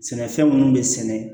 Sɛnɛfɛn minnu bɛ sɛnɛ